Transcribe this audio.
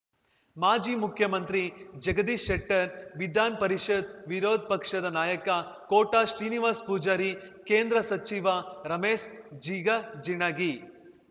ಮಾಜಿ ಮುಖ್ಯಮಂತ್ರಿ ಜಗದೀಶ್ ಶೆಟ್ಟರ್‌ ವಿಧಾನಪರಿಷತ್‌ ವಿರೋದ್ ಪಕ್ಷದ ನಾಯಕ ಕೋಟ ಶ್ರೀನಿವಾಸ್ ಪೂಜಾರಿ ಕೇಂದ್ರ ಸಚಿವ ರಮೇಶ್ ಜಿಗಜಿಣಗಿ